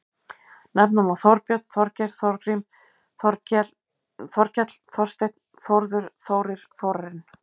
Nefna má Þorbjörn, Þorgeir, Þorgrímur, Þorkell, Þorsteinn, Þórður, Þórir, Þórarinn.